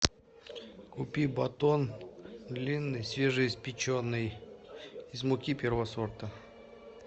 купи батон длинный свежеиспеченный из муки первого сорта